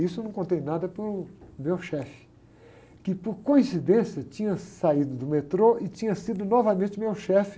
Isso eu não contei nada para o meu chefe, que por coincidência tinha saído do metrô e tinha sido novamente meu chefe